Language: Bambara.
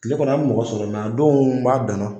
Kile kɔnɔ an mɛ mɔgɔ sɔrɔ a donw m'a dan na.